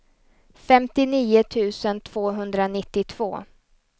femtionio tusen tvåhundranittiotvå